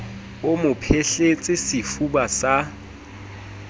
o mo phehletse sefuba sa